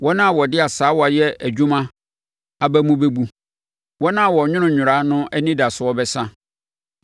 Wɔn a wɔde asaawa yɛ adwuma aba mu bɛbu, wɔn a wɔnwono nnwera no anidasoɔ bɛsa.